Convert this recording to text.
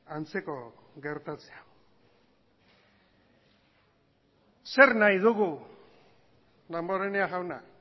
antzeko gertatzea zer nahi dugu damborenea jauna